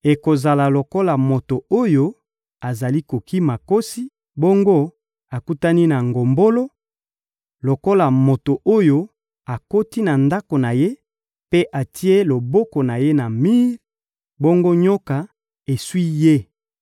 Ekozala lokola moto oyo azali kokima nkosi, bongo akutani na ngombolo; lokola moto oyo akoti na ndako na ye mpe atie loboko na ye na mir, bongo nyoka eswi ye.